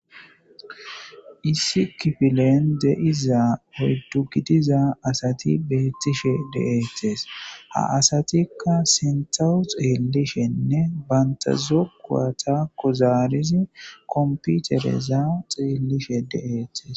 isi kifilen deiza hoddu gidiza asati beettishe deeetes ha asatikka sentawu xeellishenne bantazokuwata kuzaarizi komputereza xeellishe de7eettes